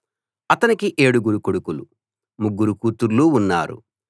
అతనికి ఏడుగురు కొడుకులు ముగ్గురు కూతుళ్ళు ఉన్నారు